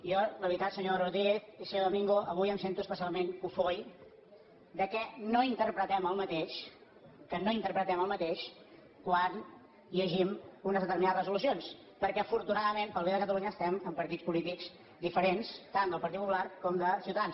jo la veritat senyor rodríguez i senyor domingo avui em sento especialment cofoi que no interpretem el mateix que no interpretem el mateix quan llegim unes determinades resolucions perquè afortunadament per al bé de catalunya estem en partits polítics diferents tant del partit popular com de ciutadans